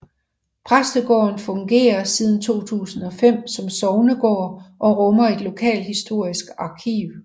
Præstegården fungerer siden 2005 som sognegård og rummer et lokalhistorisk arkiv